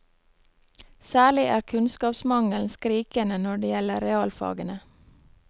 Særlig er kunnskapsmangelen skrikende når det gjelder realfagene.